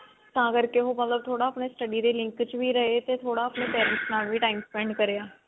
ਤਾਂ ਕਰਕੇ ਮਤਲਬ ਥੋੜਾ ਉਹ study ਦੇ link ਚ ਵੀ ਰਹੇ ਤੇ ਥੋੜਾ ਆਪਣੇ parents ਨਾਲ ਵੀ time spend ਕਰਿਆ